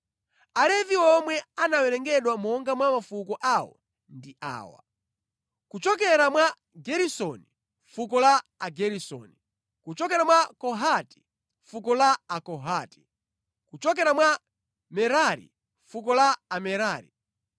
Alevi omwe anawerengedwa monga mwa mafuko awo ndi awa: kuchokera mwa Geresoni, fuko la Ageresoni; kuchokera mwa Kohati, fuko la Akohati; kuchokera mwa Merari, fuko la Amerari.